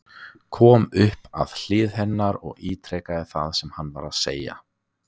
Kom upp að hlið hennar og ítrekaði það sem hann var að segja.